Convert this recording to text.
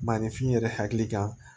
Maninfin yɛrɛ hakili kan